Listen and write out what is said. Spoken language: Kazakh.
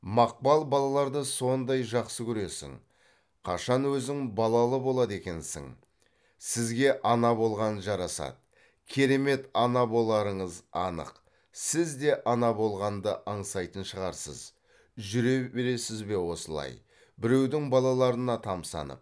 мақпал балаларды сондай жақсы көресің қашан өзің балалы болады екенсің сізге ана болған жарасады керемет ана боларыңыз анық сіз де ана болғанды аңсайтын шығарсыз жүре бересіз бе осылай біреудің балаларына тамсанып